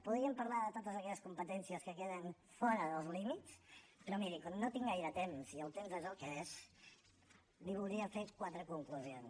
podríem parlar de totes aquelles competències que queden fora dels límits però miri com no tinc gaire temps i el temps és el que és li voldria fer quatre conclusions